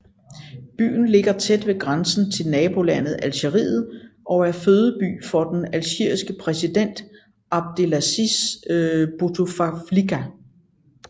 Byen ligger tæt ved grænsen til nabolandet Algeriet og er fødeby for den algeriske præsident Abdelaziz Bouteflika